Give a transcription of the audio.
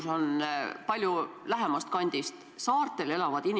See kartus või mure, mis teil on, ei ole kuidagi põhjendatud.